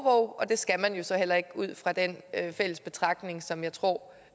og det skal man jo så heller ikke ud fra den betragtning som jeg tror